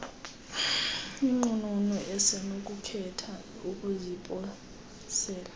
inqununu isenokukhetha ukuziposela